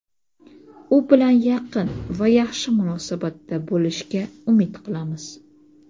u bilan yaqin va yaxshi munosabatda bo‘lishga umid qilamiz.